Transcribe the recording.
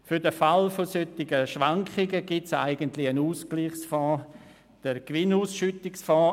Für den Fall solcher Schwankungen gibt es eigentlich einen Ausgleichsfonds, den SNB-Gewinnausschüttungsfonds.